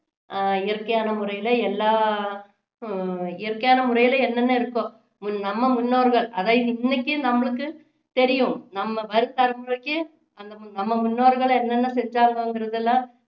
அஹ் இயற்கையான முறையில எல்லா இயற்கையான முறையில என்னென்ன இருக்கோ நம்ம முன்னோர்கள் அதை இன்னைக்கு நம்மளுக்கு தெரியும் நம்ம வரும் தலைமுறைக்கு நம்ம முன்னோர்கள் என்னென்ன செஞ்சாங்கங்குறதுல